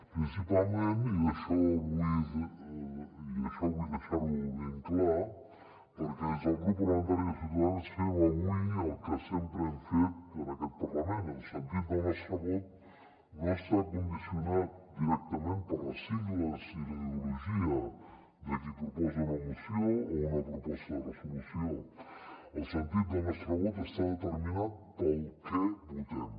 principalment i això vull deixar ho ben clar perquè des del grup parlamentari de ciutadans fem avui el que sempre hem fet en aquest parlament el sentit del nostre vot no està condicionat directament per les sigles i la ideologia de qui proposa una moció o una proposta de resolució el sentit del nostre vot està determinat pel què votem